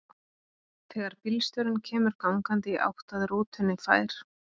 Þegar bílstjórinn kemur gangandi í átt að rútunni fær